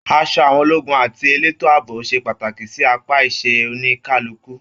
Aṣọ àwọn ológun àti eleto ààbò ṣe pàtàkì sí apá iṣẹ oníkálukú.